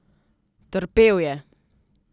Trpel je.